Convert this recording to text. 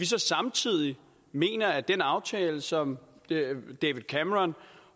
så samtidig mene at den aftale som david cameron